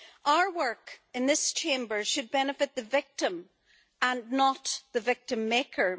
Our work in this Chamber should benefit the victim, and not the victim-maker.